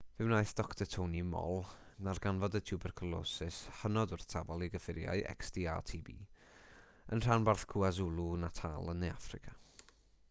fe wnaeth dr tony moll ddarganfod y twbercwlosis hynod wrthsafol i gyffuriau xdr-tb yn rhanbarth kwazulu-natal yn ne affrica